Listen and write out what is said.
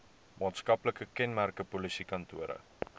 maatskaplike kenmerke polisiekantore